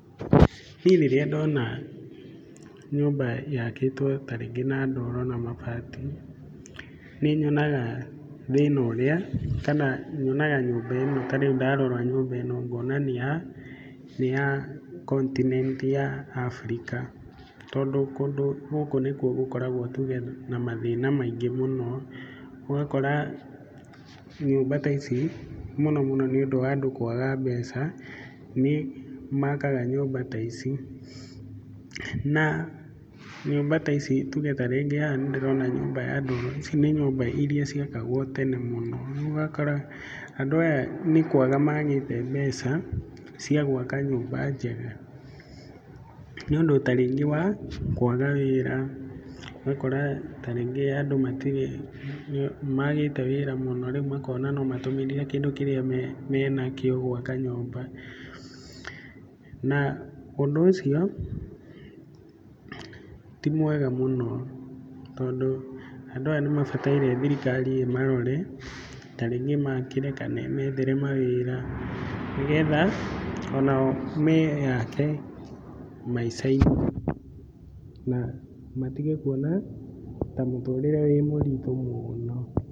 Niĩ rĩrĩa ndona nyũmba yakĩtwo ta rĩngĩ na ndoro na mabati, nĩ nyonaga thĩna ũrĩa, kana nyonaga nyũmba ĩno ta rĩu ndarora nyũmba ĩno, ngona nĩ ya continent ya Africa, tondũ kũndũ gũku nĩkuo gũkoragwo tuge na mathĩna maingĩ mũno. Ũgakora nyũmba ta ici mũno mũno nĩ ũndũ wa andũ kwaga mbeca nĩ makaga nyũmba ta ici. Na nyũmba ta ici tuge ta rĩngĩ haha nĩndĩrona nyũmba ya ndoro, ici nĩ nyũmba iria ciakagwo tene mũno. Rĩu ũgakora andũ aya nĩ kwaga magĩte mbeca cia gwaka nyũmba njega, nĩ ũndũ ta rĩngĩ wa kwaga wĩra, ũgakora ta rĩngĩ andũ matirĩ, nĩ maagite wĩra mũno rĩu makona no matũmĩrire kĩndũ kĩrĩa menakio gwaka nyũmba. Na ũndũ ũcio ti mwega mũno. Tondũ andũ aya nĩ mabataire thirikari ĩmarore, ta rĩngĩ imakĩre kana ĩmethere mawĩra nĩgetha onao meyake maica-inĩ na matĩge kuona ta mũtũrĩre wĩ mũritũ mũno.